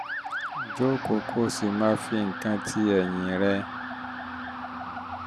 um jókòó kó o sì um fi um máa fi nǹkan ti ẹ̀yìn rẹ